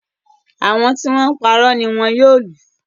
Àwọn tí wọ́n ń parọ́ ni wọn yóò lù